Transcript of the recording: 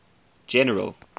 general